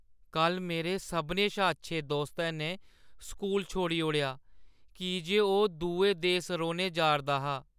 कल्ल मेरे सभनें शा अच्छे दोस्तै ने स्कूल छोड़ी ओड़ेआ की जे ओह् दुए देस रौह्‌न जा 'रदा हा।